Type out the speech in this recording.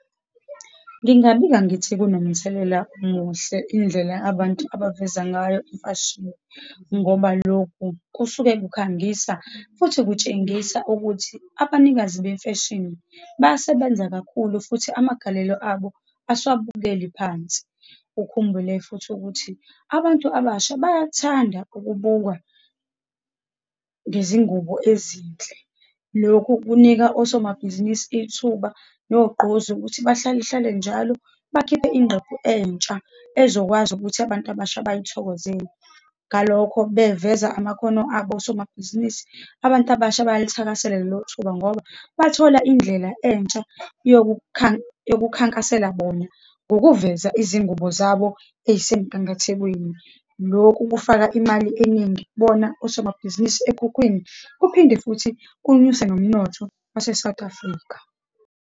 Ngingabika ngithi kunomthelela omuhle indlela abantu abaveza ngayo imfashini, ngoba lokhu kusuke kukhangisa, futhi kutshengisa ukuthi abanikazi bemfeshini basebenza kakhulu, futhi amagalelo abo asewabukeli phansi. Ukhumbule futhi ukuthi abantu abasha bayathanda ukubukwa ngezingubo ezinhle. Lokhu kunika osomabhizinisi ithuba nogqozi ukuthi bahlale hlale njalo bakhiphe ingqephu entsha ezokwazi ukuthi abantu abasha bayithokozele, ngalokho beveza amakhono abo osomabhizinisi. Abantu abasha bayalithakasela lelo thuba ngoba bathola indlela entsha yokukhankasela bona ngokuveza izingubo zabo eyisemgangathekweni. Lokhu kufaka imali eningi kubona osomabhizinisi ekhukhwini, kuphinde futhi kunyuse nomnotho wase-South Africa.